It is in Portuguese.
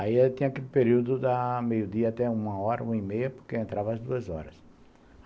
Aí eu tinha aquele período da meio-dia até uma hora, uma e meia, porque eu entrava às duas horas.